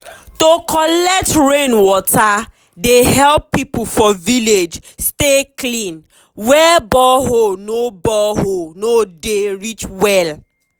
to collect rain water dey help people for village stay clean where borehole no borehole no dey reach well.